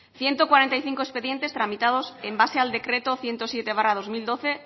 ciento cuarenta y cinco expedientes tramitados en base al decreto ciento siete barra dos mil doce